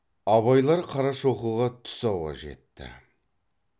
абайлар қарашоқыға түс ауа жетті